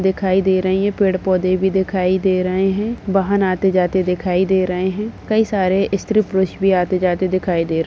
दिखाई दे रही हैं। पेड़ पौधे भी दिखाई दे रहे हैं। वाहन आते जाते दिखाई दे रहे हैं। कई सारे स्त्री पुरुष भी आते जाते दिखाई दे --